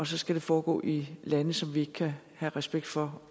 skal foregå i lande som vi ikke kan have respekt for